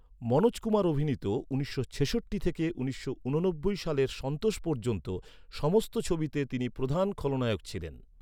মনোজ কুমার অভিনীত উনিশশো ছেষট্টি থেকে উনিশশো ঊননব্বই সালের সন্তোষ পর্যন্ত সমস্ত ছবিতে তিনি প্রধান খলনায়ক ছিলেন।